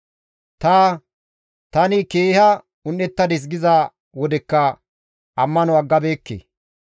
Ta, «Tani keeha un7ettadis» giza wodekka ammano aggabeekke.